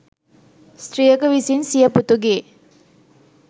ස්ත්‍රියක විසින් සිය පුතුගේ